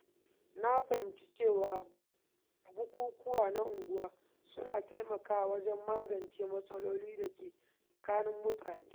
Na fahimci cewa bukukuwa na unguwa suna taimakawa wajen magance matsalolin da ke tsakanin mutane.